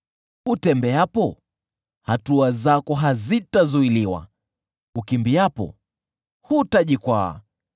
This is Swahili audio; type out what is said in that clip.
Utembeapo, hatua zako hazitazuiliwa; ukimbiapo, hutajikwaa.